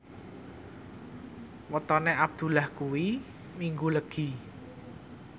wetone Abdullah kuwi Minggu Legi